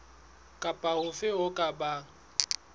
kapa hofe ho ka bang